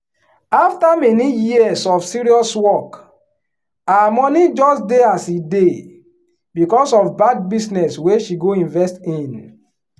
after many years of serious work her money just dey as e dey because of bad business wey she go invest in.